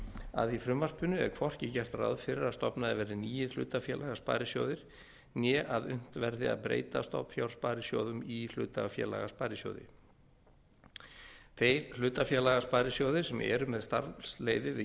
að í frumvarpinu er hvorki gert ráð fyrir að stofnaðir verði nýir hlutafélagasparisjóðir né að unnt verði að breyta stofnfjársparisjóðum í hlutafélagasparisjóði þeir hlutafélagasparisjóðir sem eru með starfsleyfi við